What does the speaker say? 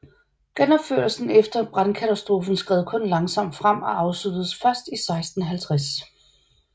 Genopførelsen efter brandkatastrofen skred kun langsomt frem og afsluttedes først i 1650